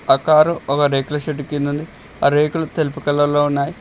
ఆ కారు ఒక రేకుల షెడ్డు కిందుంది ఆ రేకులు తెలుపు కలర్ లో ఉన్నాయి.